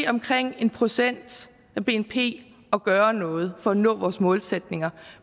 omkring en procent af bnp at gøre noget for at nå vores målsætninger